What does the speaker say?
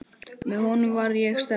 Með honum var ég sterk.